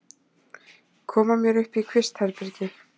Koma mér upp í kvistherbergi.